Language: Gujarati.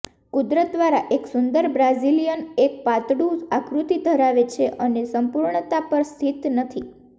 કુદરત દ્વારા એક સુંદર બ્રાઝિલિયન એક પાતળું આકૃતિ ધરાવે છે અને સંપૂર્ણતા પર સ્થિત નથી